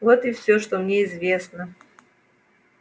вот и все что мне известно